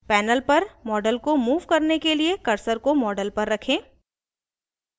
panel पर model को move करने के लिए cursor को model पर रखें